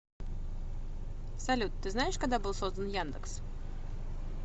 салют ты знаешь когда был создан яндекс